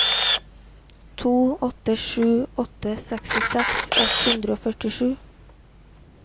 to åtte sju åtte sekstiseks ett hundre og førtisju